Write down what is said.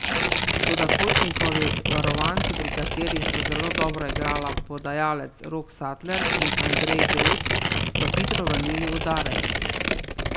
Toda Kotnikovi varovanci, pri katerih sta zelo dobro igrala podajalec Rok Satler in Andrej Grut, so hitro vrnili udarec.